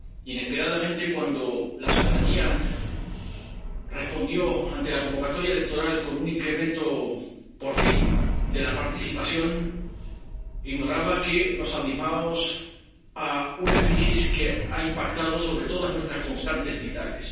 Inesperadamente, cuando la ciudadanía respondió ante la convocatoria electoral con un incremento, por fin, de la participación, ignoraba que nos abismábamos en una crisis que ha impactado sobre todas nuestras constantes vitales.